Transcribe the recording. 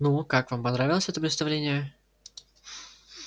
ну как вам понравилось это представление